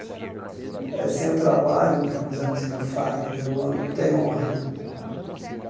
Eh sem o trabalho né, como dizia a música do Fagner, o homem não tem honra né.